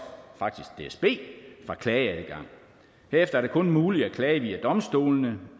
dsb fra klageadgang derefter er det kun muligt at klage via domstolene